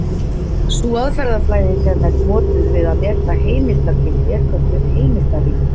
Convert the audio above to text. Sú aðferðafræði sem er notuð við að meta heimildargildi er kölluð heimildarýni.